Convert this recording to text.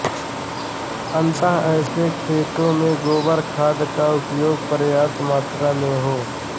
अतः ऐसे खेतों में गोबर खाद का उपयोग पर्याप्त मात्रा में हो